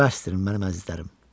Bəsdir, mənim əzizlərim.